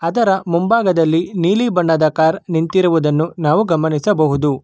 ಅದರ ಮುಂಭಾಗದಲ್ಲಿ ನೀಲಿ ಬಣ್ಣದ ಕಾರ್ ನಿಂತಿರುವುದನ್ನು ನಾವು ಗಮನಿಸಬಹುದು.